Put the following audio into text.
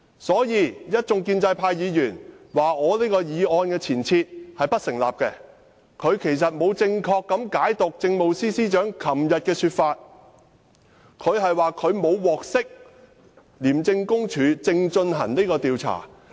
所以，建制派議員批評這項議案的前設並不成立，其實他們沒有正確解讀政務司司長昨天的說法，她說："她沒有獲悉廉署正進行這項調查"。